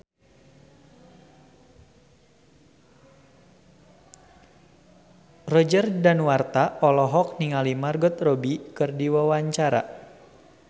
Roger Danuarta olohok ningali Margot Robbie keur diwawancara